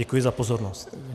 Děkuji za pozornost.